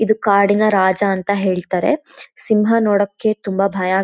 ಇದು ಕಾಡಿನ ರಾಜ ಅಂತ ಹೇಳ್ತಾರೆ ಸಿಂಹ ನೋಡೋಕ್ಕೆ ತುಂಬಾ ಭಯ --